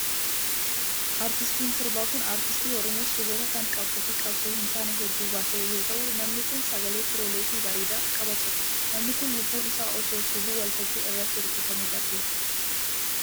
Artiistiin sirbaa kun, aartistii oromoo sirboota kan qabsoo fi qabsoo hin taane hedduu baase yoo ta'u, namni kun sagalee kiirolee fi bareedaa qaba ture. Namni kun, lubbuun isaa osoo sirbuu waltajjii irratti rukutamee darbeera.